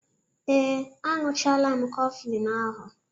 Ee, añụchaala m Kọflịñ ahụ